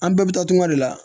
An bɛɛ bɛ taa dun ka de la